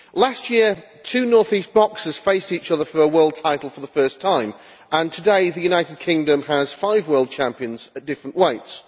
Last year two North East boxers faced each other for a world title for the first time, and today the United Kingdom has five world champions at different weights.